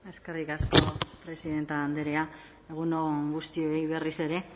eskerrik asko presidente andrea egun on guztioi berriz ere